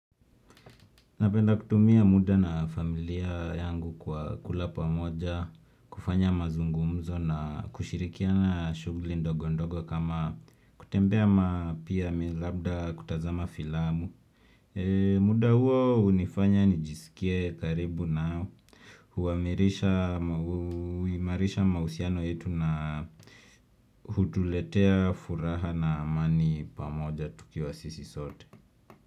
Napenda kutumia muda na familia yangu kwa kula pamoja, kufanya mazungumzo na kushirikiana shughuli ndogo ndogo kama kutembea ama pia labda kutazama filamu. Muda huo hunifanya nijisikie karibu nao huimarisha mahusiano yetu na hutuletea furaha na amani pamoja tukiwa sisi sote.